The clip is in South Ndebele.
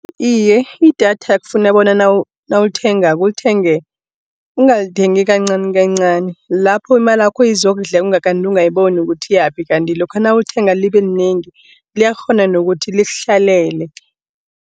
Iye idatha kufuna bona nawulithengako ungalithengi kancani kancani, lapho imalakho izokudleka kanti ungayiboni ukuthi iyaphi. Kanti lokha nawulithenga libe linengi liyakghona nokuthi likuhlalele.